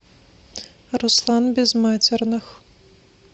руслан безматерных